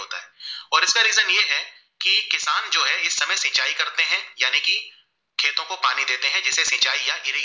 किशान जो है इस समय सिंचाई करते है यानी की खेतो को पानी देते है जिसे सिंचाई यहाँ गिरेगी